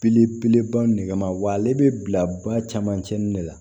Belebeleba nɛgɛma wa ale be bila camancɛ nin de la